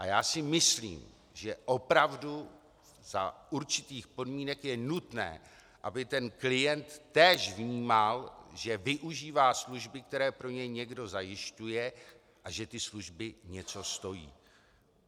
A já si myslím, že opravdu za určitých podmínek je nutné, aby ten klient též vnímal, že využívá služby, které pro něj někdo zajišťuje, a že ty služby něco stojí.